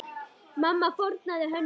Mamma fórnaði höndum.